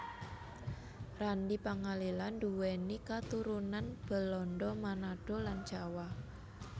Randy Pangalila duwéni katurunan Belanda Manado lan Jawa